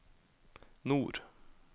nord